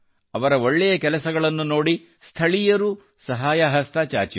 ಅವರ ಒಳ್ಳೆಯ ಕೆಲಸಗಳನ್ನು ನೋಡಿ ಸ್ಥಳೀಯರು ಸಹಾಯ ಹಸ್ತ ಚಾಚಿದರು